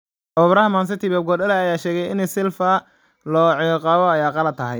Tababaraha Man City Pep Guardiola ayaa sheegay in Silva oo la ciqaabo ay qalad tahay